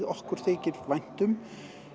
okkur þykir vænt um